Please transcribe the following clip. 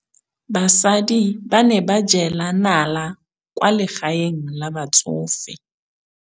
Basadi ba ne ba jela nala kwaa legaeng la batsofe.